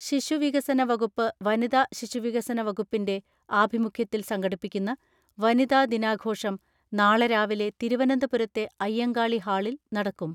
ശിശു വികസന വകുപ്പ് വനിതാ ശിശുവികസന വകുപ്പിന്റെ ആഭിമുഖ്യത്തിൽ സംഘടിപ്പിക്കുന്ന വനിതാദിനാഘോഷം നാളെ രാവിലെ തിരുവനന്തപുരത്തെ അയ്യങ്കാളി ഹാളിൽ നടക്കും.